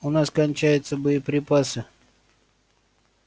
у нас кончаются боеприпасы